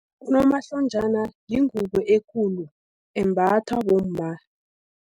Unomahlonjana yingubo ekulu, embathwa bomma.